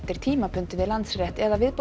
tímabundið við Landsrétt eða